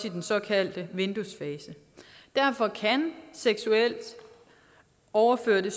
i den såkaldte vinduesfase derfor kan overførsel